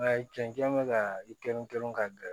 Nka cɛncɛn bɛ ka i kelen kelen ka gɛrɛ